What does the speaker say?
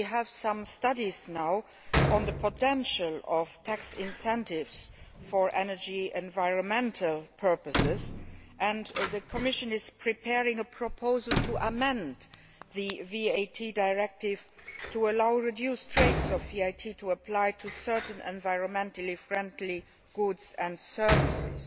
We now have some studies on the potential of tax incentives for energy and environmental purposes, and the Commission is preparing a proposal to amend the VAT directive to allow reduced rates of VAT to apply to certain environmentally friendly goods and services.